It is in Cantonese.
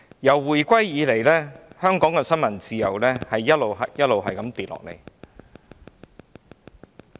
自回歸以來，香港的新聞自由一直下跌。